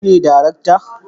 Kai ne darakta